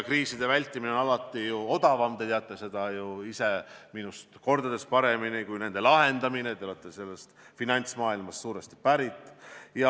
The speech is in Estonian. Kriisi vältida on alati odavam kui seda lahendada, te teate seda minust mitu korda paremini, te olete suuresti ju finantsmaailmast pärit.